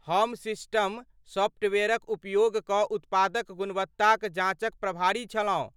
हम सिस्टम सॉफ्टवेयरक उपयोग कऽ उत्पादक गुणवत्ताक जाँचक प्रभारी छलहुँ।